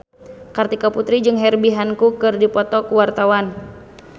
Kartika Putri jeung Herbie Hancock keur dipoto ku wartawan